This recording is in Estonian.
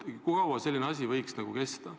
Kui kaua selline asi võiks kesta?